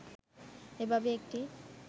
এভাবে একটি